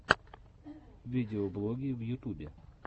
видеоблоги в ютубе